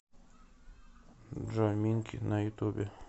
джой минк на ютубе